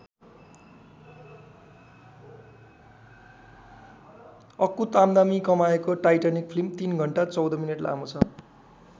अकुत आम्दानी कमाएको Titanic film ३ घण्टा १४ मिनेट लामो छ।